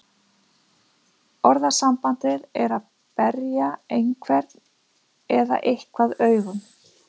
Orðasambandið er að berja einhvern eða eitthvað augum.